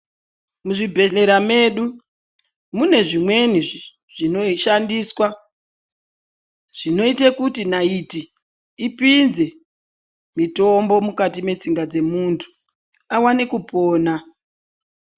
Muzvi bhedhlera medu mune zvimweni zvino shandiswa, zvinoita kuti naiti ipinze mitombo mukati metsinga dzemuntu, awane kupona.